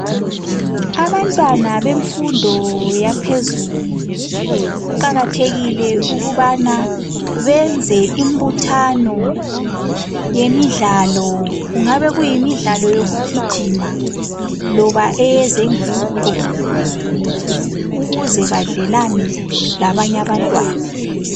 Abantwana bemfundo yaphezulu kuqakathekile ukubana benze imbuthano yemidlalo kungabe kuyimidlalo yokugijima loba eyezenguqu ukuze badlelane labanye abantwana.